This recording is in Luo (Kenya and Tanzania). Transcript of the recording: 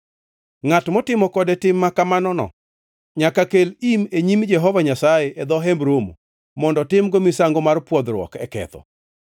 Ngʼat motimo kode tim makamanono nyaka kel im e nyim Jehova Nyasaye e dho Hemb Romo mondo timgo misango mar pwodhruok e ketho.